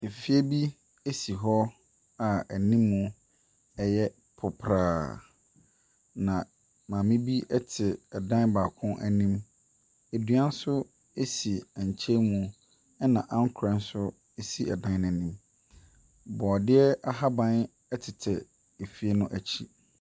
Efie bi esi hɔ a ɛnimmu ɛyɛ popraa. Na maame bi ɛte ɛdan baako ɛnim. Edua ɛnso esi ɛnkyɛn mu. Ɛna ankorɛ nso si ɛdan no ɛnim. Bɔdiɛ ahaban ɛtetɛ efie n'akyi.